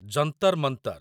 Jantar Mantar